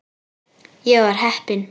Ég var heppin.